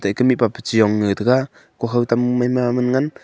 taike mihpa pe jong nge taiga kuhao tam maima man ngan.